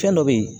Fɛn dɔ be yen